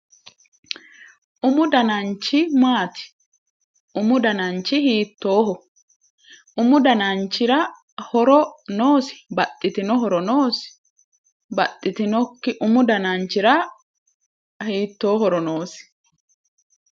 Umu dananchi maati? Umu dananchi hiittooho? Umu dananchira horo noosi baxxitinoti? Umu dananchira hiittoo horo noosi?